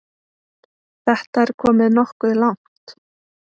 Þetta er komið nokkuð langt.